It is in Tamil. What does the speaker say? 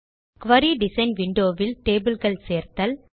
குரி டிசைன் விண்டோ வில் டேபிள் கள் சேர்த்தல்